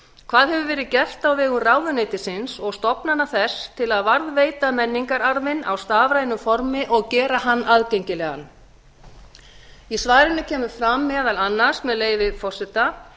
hvað hefur verið gert á vegum ráðuneytisins og stofnana þess til að varðveita menningararfinn á stafrænu formi og gera hann aðgengilegan í svarinu kemur fram meðal annars með leyfi forseta